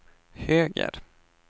höger